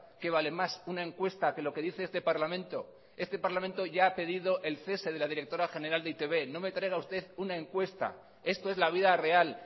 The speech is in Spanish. qué vale más una encuesta que lo que dice este parlamento este parlamento ya ha pedido el cese de la directora general de e i te be no me traiga usted una encuesta esto es la vida real